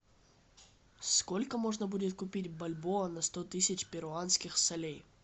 сколько можно будет купить бальбоа на сто тысяч перуанских солей